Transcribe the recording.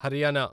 Haryana